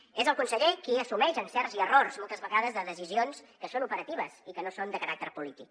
és el conseller qui assumeix encerts i errors moltes vegades de decisions que són operatives i que no són de caràcter polític